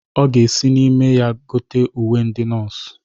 Ọ ga-esi n'ime ya gote uwe ndị nọọsụ.